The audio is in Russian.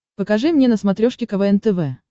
покажи мне на смотрешке квн тв